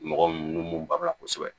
Mɔgɔ nu bala kosɛbɛ